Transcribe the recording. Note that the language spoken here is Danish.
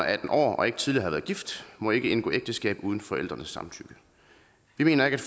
atten år og ikke tidligere har været gift må ikke indgå ægteskab uden forældrenes samtykke vi mener ikke at